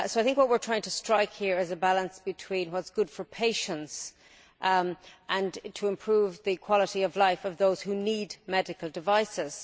What we are trying to strike here is a balance between what is good for patients and improving the quality of life of those who need medical devices.